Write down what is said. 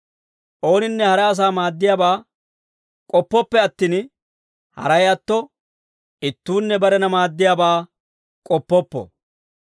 Ooninne hara asaa maaddiyaabaa k'oppooppe attin, haray atto ittuunne barena maaddiyaabaa k'oppoppo.